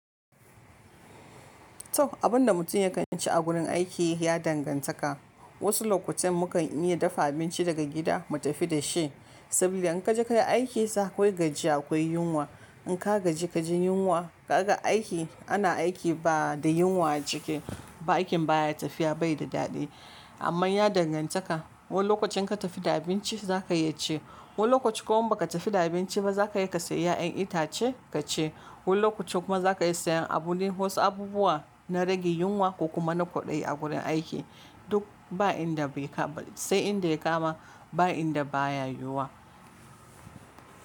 To abun da mutum ya kan ci a gurin aiki ya dangantaka. Wasu lokutan mu kan iya dafa abinci daga gida mu tafi da shi, sabida in ka je ka yi aiki sa kai gajiya akwai yunwa. In ka gaji ka ji yunwa kaga aiki ana aiki ba da yunwa a ciki ba, aikin baya tafiya bai da daɗi. Amma ya dangantaka wani lokacin ka tafi da abinci za ka iya ci, wani lokaci kuma ba ka tafi da abinci ba za ka iya ka sayi ƴaƴan itace ka ci. Wani lokacin kuma za ka iya sayan abun wani wasu abubuwa na rage yunwa kuma na kwaɗayi a gurin aiki. Duk ba inda bai kama sai inda ya kama ba inda baya yiwuwa.